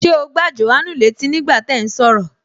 Ṣé o gbá Jòhánù létí ní gbà tí ẹ̀ ún sọ̀rọ̀?